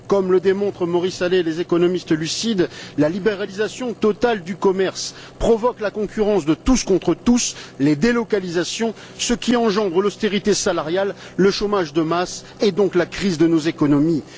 Comme le démontre Maurice Allais et les économistes lucides, la libéralisation totale du commerce provoque la concurrence de tous contre tous, les délocalisations, ce qui engendre l'austérité salariale, le chômage de masse, et donc la crise de nos économies.